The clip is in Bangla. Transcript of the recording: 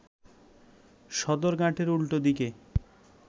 সদরঘাটের উল্টো দিকে